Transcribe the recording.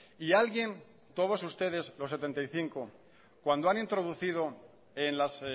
y alguien todos ustedes los setenta y cinco cuando han introducido en las